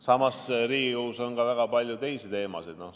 Samas, Riigikogus on ka väga palju teisi teemasid.